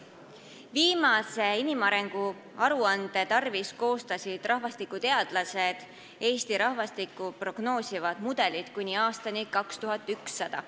Viimase inimarengu aruande tarvis koostasid rahvastikuteadlased Eesti rahvastikku prognoosivad mudelid kuni aastani 2100.